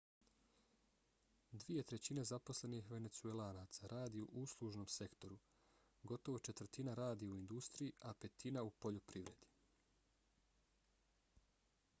dvije trećine zaposlenih venecuelaca radi u uslužnom sektoru gotovo četvrtina radi u industriji a petina u poljoprivredi